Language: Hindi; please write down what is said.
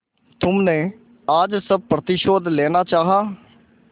तुमने आज सब प्रतिशोध लेना चाहा